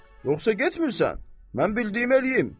Yoxsa getmirsən, mən bildiyimi eləyim.